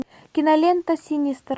кинолента синистер